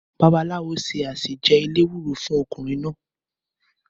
Bàbàlàwò sẹ asẹ jẹ èlẹwúrò fún ọ̀kúnrìn nà